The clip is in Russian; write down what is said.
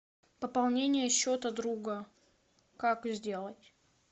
пополнение счета друга как сделать